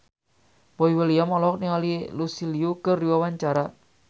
Boy William olohok ningali Lucy Liu keur diwawancara